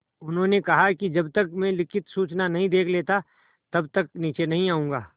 उन्होंने कहा कि जब तक मैं लिखित सूचना नहीं देख लेता तब तक नीचे नहीं आऊँगा